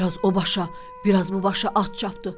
Bir az o başa, bir az bu başa at çapdı.